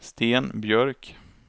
Sten Björk